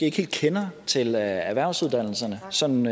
ikke helt kender til erhvervsuddannelserne sådan